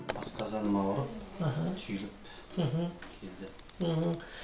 асқазаным ауырып іхі түйіліп мхм келдім мхм